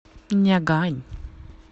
нягань